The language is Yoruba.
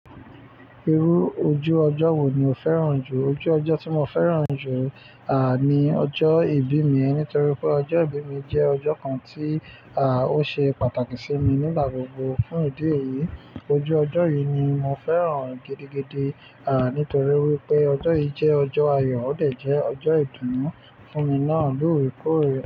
Irú ojú ọjọ́ wo ni o fẹ́ràn jù? Ojú ọjọ́ tí mo fẹ́ràn jù, à, ni ọjọ́ ìbí mi. Nítorí pé ọjọ́ ìbí mi jẹ́ ọjọ́ kan tí, à, ó ṣe pàtàkì sí mi nígbà gbogbo. Fún ìdí èyí, ojú ọjọ́ yìí ni mo fẹ́ràn gidigidi, à, nítorí wípé ọjọ́ yìí jẹ́ ọjọ́ ayọ̀ ó dẹ̀ jẹ́ ọjọ́ ìdùnnú fún mi náà lóore kóorè.